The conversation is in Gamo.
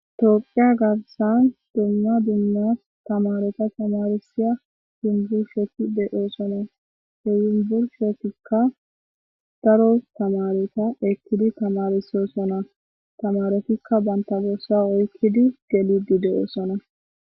Toophphiya garssan dumma dumma thamaaretha thamaarissiya yunburshethi de7oosona; he yumbburshetikka daro thamaaretha ekkidi thamaarissoosona; thamaarothikka banththa borssaa oykkidi geliidde de7oosona.